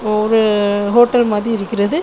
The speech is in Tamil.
ஒரு ஹோட்டல் மாதிரி இருக்கிறது.